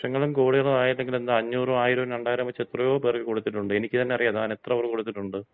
ഈ ലക്ഷണങ്ങളും കോടികളും ആയില്ലെങ്കി എന്താ അഞ്ഞൂറും ആയിരവും രണ്ടായിരവും വച്ച് എത്രയോ പേർക്ക് കൊടുത്തിട്ടുണ്ട്. എനിക്ക് തന്ന അറിയാം, താൻ എത്ര പേർക്ക് കൊടുത്തിട്ടുണ്ട്.